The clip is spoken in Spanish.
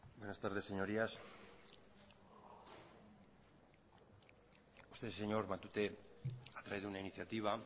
buenas tardes señorías usted señor matute ha traído una iniciativa